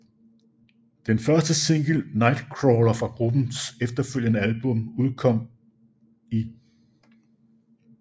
Den første single Nightcrawler fra gruppens efterfølgende album udkom 1